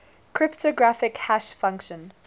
cryptographic hash function